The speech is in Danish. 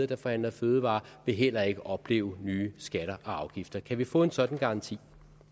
der forhandler fødevarer vil heller ikke opleve nye skatter og afgifter kan vi få en sådan garanti